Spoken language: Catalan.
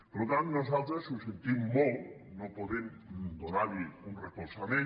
per tant nosaltres ho sentim molt no podem donar hi un recolzament